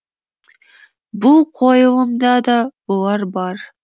бұл қойылымда да бұлар бұлар